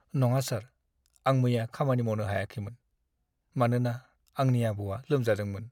नङा सार, आं मैया खामानि मावनो हायाखैमोन, मानोना आंनि आबौआ लोमजादोंमोन।